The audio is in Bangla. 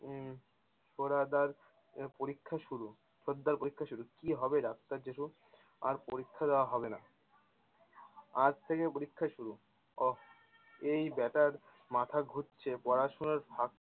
উম তোর আবার আহ পরীক্ষা শুরু, ছোটদার পরীক্ষা শুরু, কি হবে ডাক্তার জেঠু? আর পরীক্ষা দেয়া হবে না! আজ থেকে পরীক্ষা শুরু অহ এই বেটার মাথা ঘুরছে, পড়াশোনার